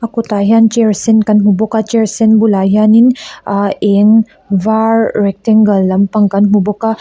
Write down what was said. kawtah hian chair sen kan hmu bawk a chair sen bulah hian in ahh eng var rectangle lampang kan hmu bawk a.